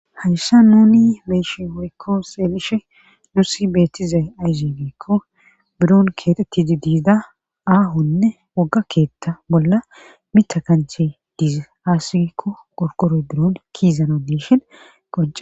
hayssa nuni beyishe woykko xelishe nusi beettiza ayze gikko buron kexetidi diida aahonne wogga keetta bolla mita kanche diiza aasikko gorkore duron kiizana diishin qonce